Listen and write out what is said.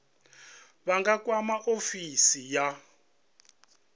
vha nga kwama ofisi ya